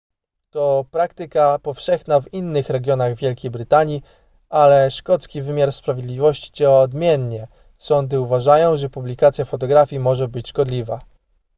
to praktyka powszechna w innych regionach wielkiej brytanii ale szkocki wymiar sprawiedliwości działa odmiennie sądy uważają że publikacja fotografii może być szkodliwa